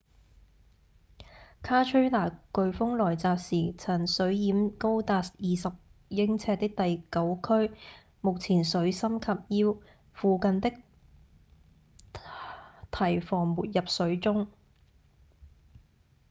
卡崔娜颶風來襲時曾水淹高達二十英尺的第九區目前水深及腰附近的堤防沒入水中